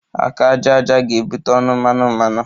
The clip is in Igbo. Aka aja aja ga-ebute ọnụ mmanụ mmanụ